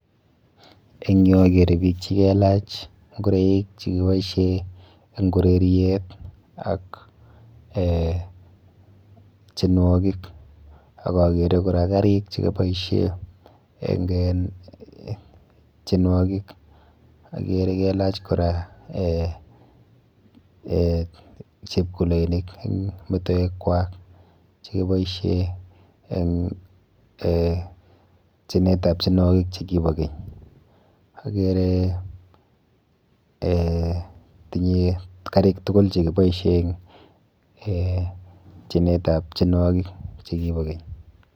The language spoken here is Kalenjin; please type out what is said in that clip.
Eng yu akere biik chikelach nkoreik chekiboishe eng ureriet ak eh tienwokik ak akere kora karik chekiboishe eng en tienwokik. Akere kelach kora eh chepkuloinik eng metoekwa chekiboishe eng eh tienetap tienwokik chekipo keny. Akere eh tinye karik tukul chekiboishe eng tienetap tienwokik chekipo keny.